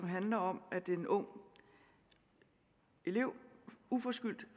handler om at en ung elev uforskyldt